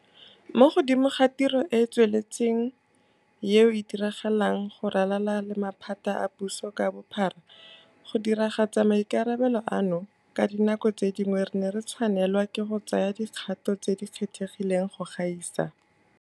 Mo godimo ga tiro e e tsweletseng eo e diragalang go ralala le maphata a puso ka bophara, go diragatsa maikarabelo ano, ka dinako tse dingwe re ne re tshwanelwa ke go tsaya dikgato tse di kgethegileng go gaisa.